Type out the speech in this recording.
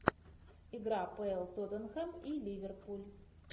игра апл тоттенхэм и ливерпуль